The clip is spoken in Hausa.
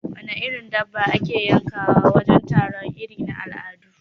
Wana irin dabba ake yankawa wajen taro irin na al'adu?